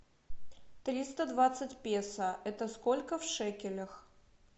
триста двадцать песо это сколько в шекелях